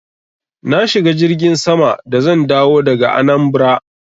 Na shiga jirgin sama da zan dawo daga Anambra.